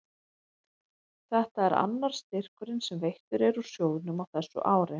Þetta er annar styrkurinn sem veittur er úr sjóðnum á þessu ári.